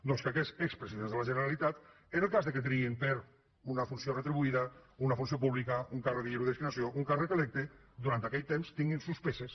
doncs que aquests expresidents de la generalitat en el cas que triïn una funció retribuïda una funció pública un càrrec de lliure designació un càrrec electe durant aquell temps tinguin suspeses